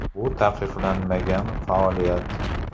Bu taqiqlanmagan faoliyat.